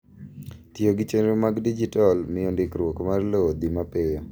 Tiyo gi chenro mag dijital miyo ndikruok mar lowo dhi mapiyo.